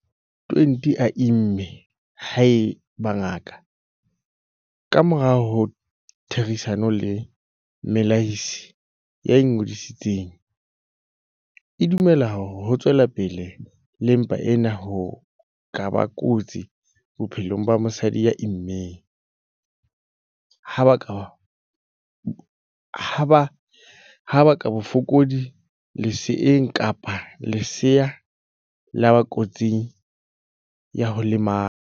20 a imme haeba ngaka, ka morao ho therisano le mmelehisi ya ingodisitseng, e dumela hore ho tswela pele le mpa ena ho ka ba kotsi bophelong ba mosadi ya immeng, ha baka bofokodi leseeng kapa lesea la ba kotsing ya ho lemala.